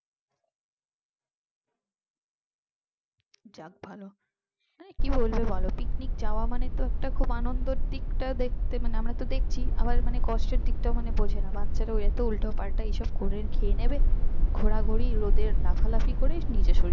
যাক ভাল কি বলব বল পিকনিক যাওয়া মানে তো একটা খুব আনন্দের দিক টা ও দেখতে মানে আমরা তো দেখছি আবার মানে কষ্ট এর দিকটাও মানে বোঝেনা বাচ্চারা এত উল্টোপাল্টা এইসব করে খেয়ে নেবে ঘোরাঘুরির রোদে লাফালাফি করে নিজের শরীরটা